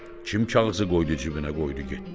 Kim kağızı qoydu cibinə, qoydu getdi?